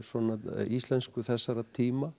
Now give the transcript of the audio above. íslensku þessara tíma